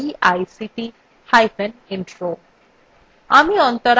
আমি অন্তরা এই tutorialটি অনুবাদ এবং রেকর্ড করেছি